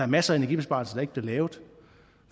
maser af energibesparelser der ikke bliver lavet